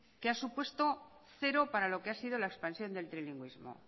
que ha supuesto cero para lo que ha sido la expansión del trilingüismo